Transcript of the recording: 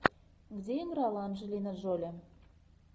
где играла анджелина джоли